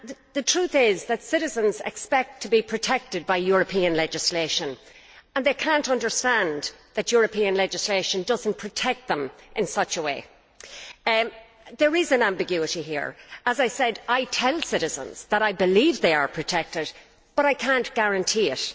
The truth is that citizens expect to be protected by European legislation and they cannot understand why European legislation does not protect them in this respect. There is an ambiguity here. As I said, I tell citizens that I believe that they are protected, but I cannot guarantee it.